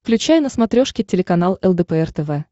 включай на смотрешке телеканал лдпр тв